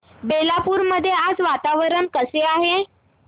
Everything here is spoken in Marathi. बेलापुर मध्ये आज वातावरण कसे आहे